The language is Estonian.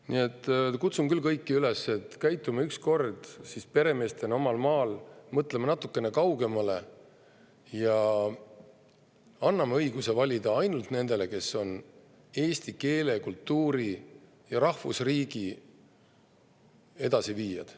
Nii et kutsun kõiki üles, et käitume ükskord peremeestena omal maal, mõtleme natukene kaugemale ja anname õiguse valida ainult nendele, kes on eesti keele, kultuuri ja rahvusriigi edasiviijad.